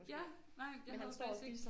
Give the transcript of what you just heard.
Ja nej jeg havde faktisk ikke